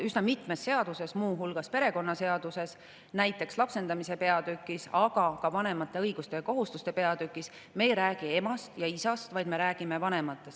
Üsna mitmes seaduses, muu hulgas perekonnaseaduses, näiteks lapsendamise peatükis, aga ka vanemate õiguste ja kohustuste peatükis, me ei räägi emast ja isast, vaid me räägime vanematest.